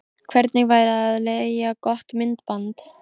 Hvernig væri að leigja gott myndband?